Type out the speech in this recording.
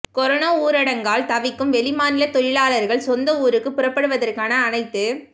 corona ஊரடங்கால் தவிக்கும் வெளி மாநில தொழிலாளர்கள் சொந்த ஊருக்கு புறப்படுவதற்கான அனைத்து